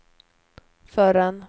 förrän